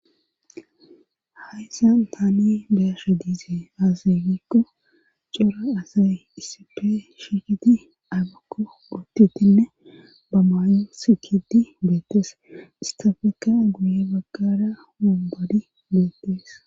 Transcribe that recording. hayssan taani beyasha diise aasaygikko cora asay isippe shikiti agakko utitinne ba maayu sikidi beettees istafeka guye baggara mubbodi beettees